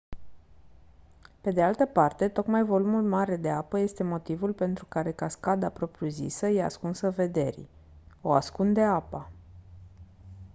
pe de altă parte tocmai volumul mare de apă este motivul pentru care cascada propriu-zisă e ascunsă vederii o ascunde apa